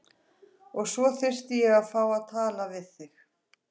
Og svo þyrfti ég að fá að tala aðeins við þig.